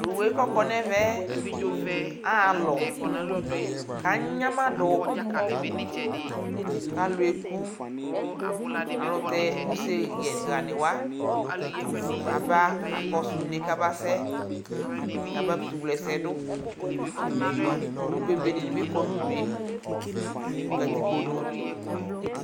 Tʋ owu yɛ kʋ ɔkɔ nʋ ɛvɛ aɣa alɔ kʋ anyamadʋ kʋ alʋ eku Alʋ tɛ useyɛnɩ ɣanɩ wa aba kakɔsʋ une yɛ kabasɛ kabakʋtʋwle ɛsɛ yɛ dʋ Owu bebe dɩnɩ bɩ kɔ nʋ udu yɛ nʋ katikpo nu